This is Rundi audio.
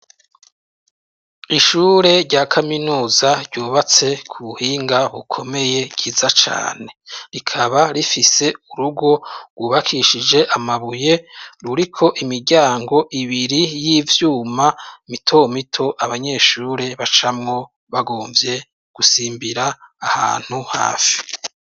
Ishure rya kaminuza ryubatse ku buhinga bukomeye bwiza cane, rikaba rifise urugo gwubakishije amabuye ruriko imiryango ibiri y'ivyuma mito mito abanyeshure bacamwo bagomvye gusimbira ahantu hafi.